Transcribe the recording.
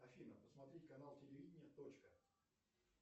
афина посмотреть канал телевидения точка